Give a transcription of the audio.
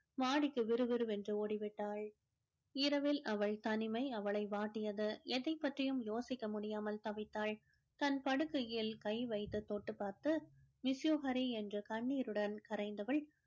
மாடிக்கு விறுவிறுவென்று ஓடிவிட்டாள் இரவில் அவள் தனிமை அவளை வாட்டியது எதைப் பற்றியும் யோசிக்க முடியாமல் தவித்தாள் தன் படுக்கையில் கை வைத்து தொட்டு பார்த்து miss you ஹரி என்று கண்ணீருடன் கரைந்தவள்